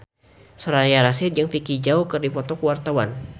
Soraya Rasyid jeung Vicki Zao keur dipoto ku wartawan